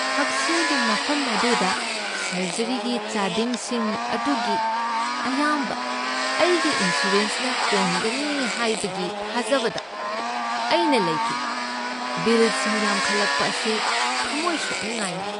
ꯍꯛꯁꯦꯜꯒꯤ ꯃꯐꯝ ꯑꯗꯨꯗ ꯁꯔꯖꯔꯤꯒꯤ ꯆꯥꯗꯤꯡꯁꯤꯡ ꯑꯗꯨꯒꯤ ꯑꯌꯥꯝꯕ ꯑꯩꯒꯤ ꯏꯟꯁꯨꯔꯦꯟꯁꯅ ꯀꯣꯟꯒꯅꯤ ꯍꯥꯏꯕꯒꯤ ꯊꯥꯖꯕꯗ ꯑꯩꯅ ꯂꯩꯈꯤ꯫ ꯕꯤꯜꯁꯤꯡ ꯌꯥꯝꯈꯠꯂꯛꯄ ꯑꯁꯤ ꯊꯃꯣꯢ ꯁꯣꯛꯅꯤꯡꯉꯥꯢꯅꯤ꯫